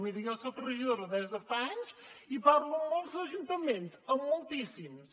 miri jo soc regidora des de fa anys i parlo amb molts ajuntaments amb moltíssims